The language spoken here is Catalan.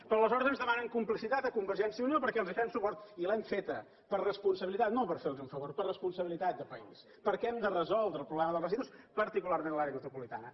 però aleshores ens demanen complicitat a convergència i unió perquè els fem suport i l’hem fet per responsabilitat no fer los un favor per responsabilitat de país perquè hem de resoldre el problema dels residus particularment a l’àrea metropolitana